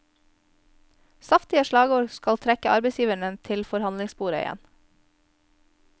Saftige slagord skal trekke arbeidsgiverne til forhandlingsbordet igjen.